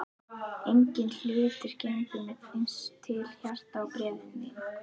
Enginn hlutur gengur mér eins til hjarta og bréfin þín.